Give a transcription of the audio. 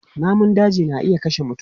Namun daji na iya kashe mutum.